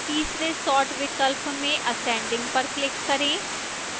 तीसरे sort विकल्प में ascending पर click करें